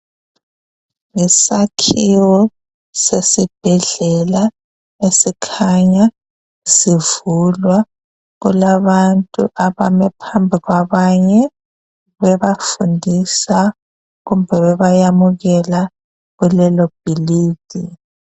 Yisakhiwo sesibhedlela esikhanya sivulwa kulabantu abame phambi kwabanye bebafundiswa kumbe bebayamukela kulelo bhilidi.